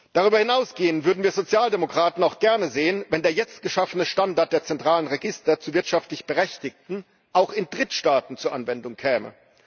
Darüber hinausgehend würden wir Sozialdemokraten es auch gerne sehen, wenn der jetzt geschaffene Standard der zentralen Register zu wirtschaftlich Berechtigten auch in Drittstaaten zur Anwendung käme.